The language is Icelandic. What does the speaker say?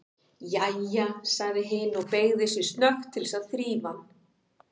Jæja, sagði hin og beygði sig snöggt til þess að þrífa hann.